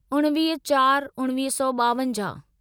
उणिवीह चार उणिवीह सौ ॿावंजाहु